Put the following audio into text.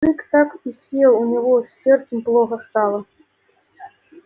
мужик так и сел у него с сердцем плохо стало